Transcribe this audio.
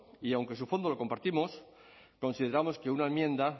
y aunque su fondo lo compartimos consideramos que una enmienda